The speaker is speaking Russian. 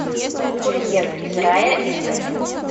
курьер из рая искать